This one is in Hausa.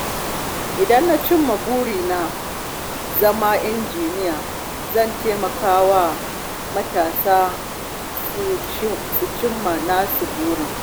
Idan na cimma burina na zama injiniya, zan taimaka wa matasa su cimma nasu burin.